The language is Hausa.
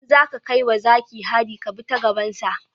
In zaka kai wa zaki hari ka bi ta gaban sa